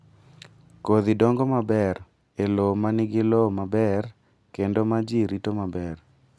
Kodhi dongo maber e lowo ma nigi lowo maber kendo ma ji rito maber.